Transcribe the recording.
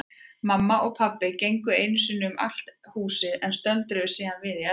Mamma og pabbi gengu einu sinni um allt húsið en stöldruðu síðan við í eldhúsinu.